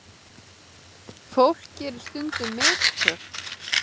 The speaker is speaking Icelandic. Fólk gerir stundum mistök.